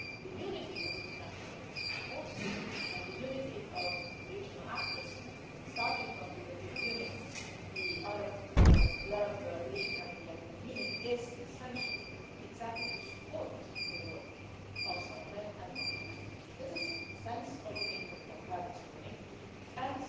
path. So the unity of the international forces and the unity of the regional actors starting from the European Union, the Arab League and the African Union is essential to support the work of Salamé of and of the United Nations. This is the sense of the meeting that I had this morning